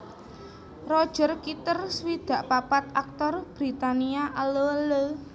Roger Kitter swidak papat aktor Britania Allo Allo